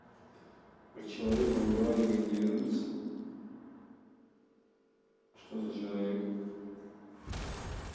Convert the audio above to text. вы человека уговариваете вернуться что за человек